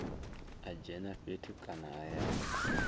a dzhene fhethu kana hayani